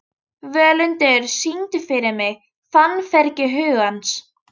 Völundur, syngdu fyrir mig „Fannfergi hugans“.